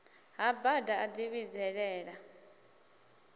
ha bada a ḽi vhidzelela